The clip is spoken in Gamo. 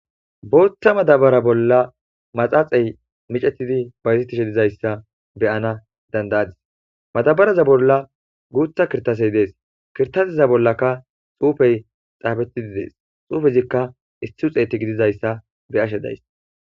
bootha madabara bolla maxaaxey micetidi bayzettishe dizayssa beyana dandayadis madabaraza bolla guutha kirtasey dees kirtasiza bollaka xuufey xaabetidi dees xuufezikka issi uxeeti gidizayssa be'ashe days